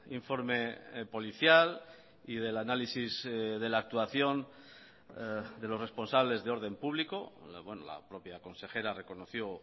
informe policial y del análisis de la actuación de los responsables de orden público la propia consejera reconoció